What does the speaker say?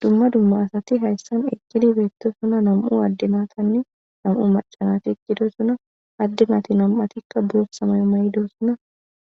dumma dumma asati hayssan eqqidi beettosona nam7u adde natanne nam7u maca nati eqqidosona adde nati nam7atikka bootha mayo mayidosona